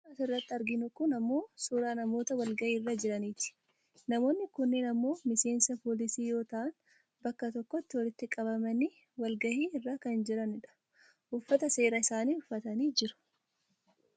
Suuraan asirratti arginu kun ammoo suuraa namoota walgaahii irra jiraniiti. Namoonni kunneen ammoo miseensa poolisii yoo ta'an bakka tokkotti walitti qabamanii wal gahii irra kan jiran dha. uffata seeraa isaanii uffataniit jiru.